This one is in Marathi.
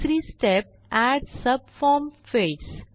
तिसरी स्टेप एड सबफॉर्म फील्ड्स